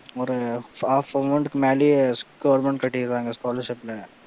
ஒரு half amount க்கு மேலேயே government கட்டிற்றாங்க scholarship ல